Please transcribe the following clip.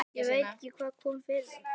Ég veit ekki hvað kom yfir okkur.